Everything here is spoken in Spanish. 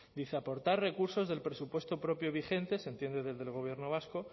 dice aportar recursos del presupuesto propio vigente se entiende desde el gobierno vasco